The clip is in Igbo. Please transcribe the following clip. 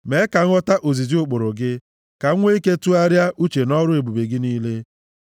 Mee ka m ghọta ozizi ụkpụrụ gị; ka m nwe ike tụgharịa uche nʼọrụ ebube gị niile.